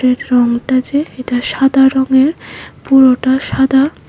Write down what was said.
এর রঙটা যে এটা সাদা রঙের পুরোটা সাদা।